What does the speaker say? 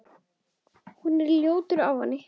Hún er ljótur ávani.